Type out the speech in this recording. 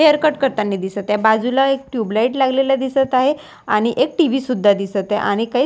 hair cut करतानी दिसत आहे बाजूला एक ट्युबलाईट लागलेला दिसत आहे आणि एक टी_व्ही सुद्धा दिसत आहे आणि काही.--